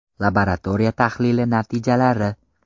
Laboratoriya tahlili natijalari.